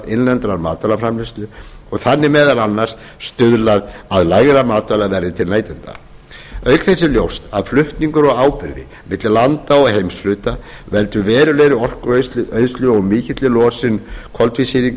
innlendrar matvælaframleiðslu og þannig meðal annars stuðlað að lægra matvælaverði til neytenda auk þess er ljóst að flutningar á áburði milli landa og heimshluta veldur verulegri orkueyðslu og mikilli losun koltvísýrings út